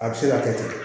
A bɛ se ka kɛ ten